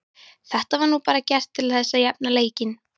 Þetta var nú bara gert til þess að jafna leikinn.